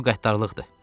Bu qəddarlıqdır.